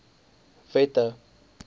wette